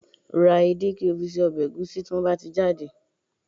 Ra edé, kí o fi se ọbẹ̀ ẹ̀gúsí tí wọ́n bá ti jáde